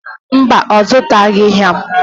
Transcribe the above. Mba, ọ zụtaghị ha.